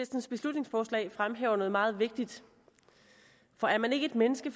beslutningsforslag fremhæver noget meget vigtigt for er man ikke et menneske